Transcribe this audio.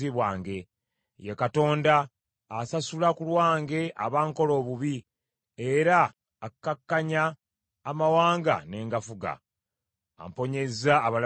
Ye Katonda, asasula ku lwange abankola obubi era akakkanya amawanga ne ngafuga. Amponyeza abalabe bange.